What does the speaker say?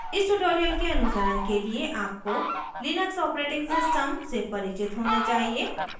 इस tutorial के अनुसरण के लिए आपको लिनक्स operating system से परिचित होना चाहिए